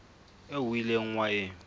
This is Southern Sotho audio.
eo o ileng wa e